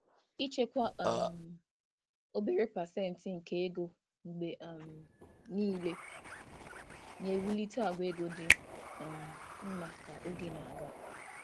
Ịchekwa obere obere pasentị nke ego mgbe niile na-ewulite àgwà ego dị mma ka oge na-aga.